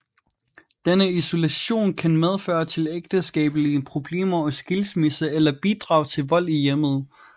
Denne isolation kan føre til ægteskabelige problemer og skilsmisse eller bidrage til vold i hjemmet